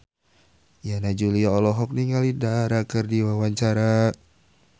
Yana Julio olohok ningali Dara keur diwawancara